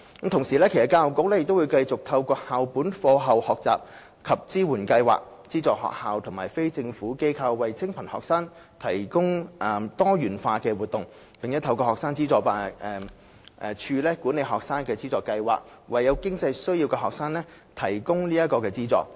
同時，教育局將繼續透過校本課後學習及支援計劃，資助學校及非政府機構為清貧學生提供多元化的活動，並透過學生資助處管理的學生資助計劃，為有經濟需要的學生提供資助。